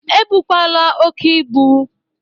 E bụkwala oke ibụ!